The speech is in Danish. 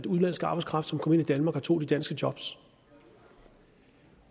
udenlandsk arbejdskraft kom ind i danmark og tog de danske job